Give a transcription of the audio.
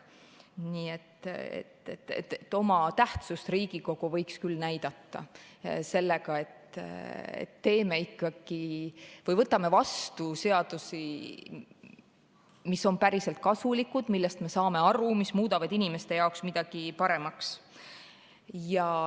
Nii et oma tähtsust võiks Riigikogu küll näidata sellega, et võtame vastu seadusi, mis on päriselt kasulikud, millest me saame aru, et need muudavad inimeste jaoks midagi paremaks.